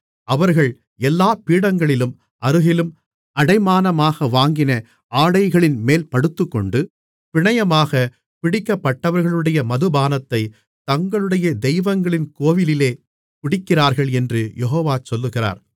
அவர்கள் எல்லா பீடங்களின் அருகிலும் அடைமானமாக வாங்கின ஆடைகளின்மேல் படுத்துக்கொண்டு பிணையமாக பிடிக்கப்பட்டவர்களுடைய மதுபானத்தைத் தங்களுடைய தெய்வங்களின் கோவிலிலே குடிக்கிறார்கள் என்று யெகோவா சொல்லுகிறார்